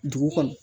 Dugu kɔnɔ